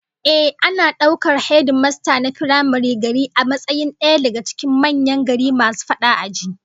Ehh, ana daukar hedimasta na firamaren gari a matsayin daya daga cikin manyan gari masu fadi a ji